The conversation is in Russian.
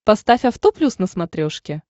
поставь авто плюс на смотрешке